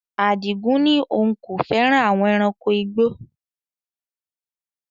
Adigun ní òun kò fẹ́ràn àwon ẹranko igbó